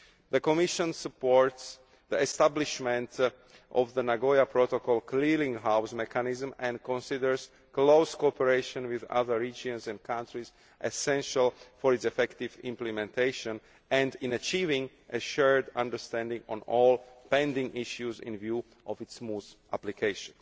The Commission supports the establishment of the Nagoya Protocol clearing house mechanism and considers close cooperation with other regions and countries essential for its effective implementation and for reaching a shared understanding of all pending issues relating to its smooth application.